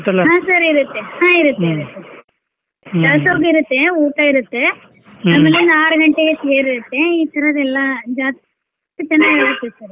ಹಾ sir ಇರುತ್ತೆ ಹಾ ಇರುತ್ತೆ ಇರುತ್ತೆ ದಾಸೋಗ್ ಇರುತ್ತೆ ಊಟ ಇರುತ್ತೆ ಗಂಟೆಗೆ ತೇರ್ ಇರುತ್ತೆ ಈ ತರದ್ದೆಲ್ಲ ಜಾತ್ರಿ ಚೆನ್ನಾಗ್ ಇರುತ್ತೆ sir .